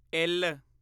ਇੱਲ